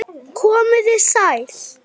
Komiði sæl!